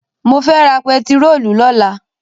Mo fẹ́ ra pẹtirólù lọ́la.